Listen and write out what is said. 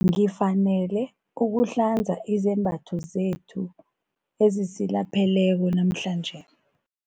Ngifanele ukuhlanza izembatho zethu ezisilapheleko namhlanje.